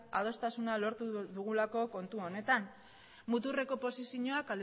adostasuna lortu dugulako kontu honetan muturreko posizioak